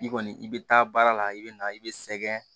I kɔni i bɛ taa baara la i bɛ na i bɛ sɛgɛn